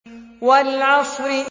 وَالْعَصْرِ